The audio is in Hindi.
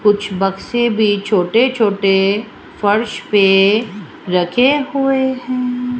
कुछ बक्से भी छोटे छोटे फर्श पे रखे हुए हैं।